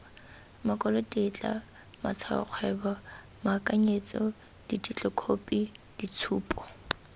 makwalotetla matshwaokgwebo moakanyetso ditetlokhophi ditshupo